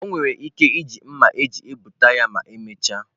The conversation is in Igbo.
O nwere ike iji mma eji egbutu ya ma emechaa.